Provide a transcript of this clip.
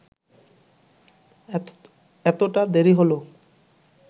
এতটা দেরি হল